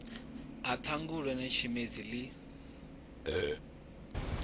ha ṱhangule na tshimedzi ḽi